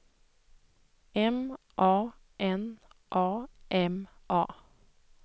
M A N A M A